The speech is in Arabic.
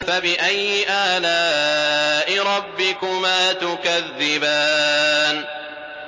فَبِأَيِّ آلَاءِ رَبِّكُمَا تُكَذِّبَانِ